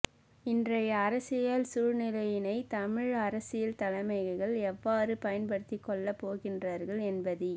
இன்றைய அரசியல் சூழ்நிலையினை தமிழ் அரசியல் தலைமைகள் எவ்வாறு பயன்படுத்திக்கொள்ளப் போகின்றார்கள் என்பதி